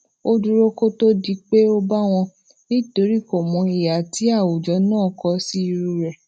ó dúró kó tó di pé ó bawo nitori komo iha ti awujo naa ko si iru re